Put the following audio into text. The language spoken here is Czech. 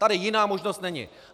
Tady jiná možnost není.